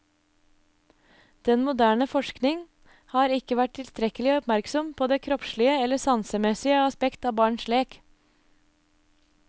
Den moderne forsking har ikke vært tilstrekkelig oppmerksom på det kroppslige eller sansemessige aspekt av barns lek.